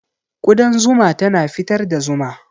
Ƙudan zuma tana fitar da zuma.